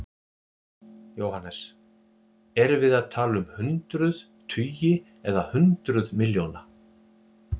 Jóhannes: Erum við að tala um hundruð, tugi eða hundruð milljóna?